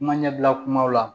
Kuma ɲɛbila kumaw la